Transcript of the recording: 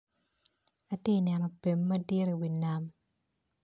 Atye neno bim madit i wi nam.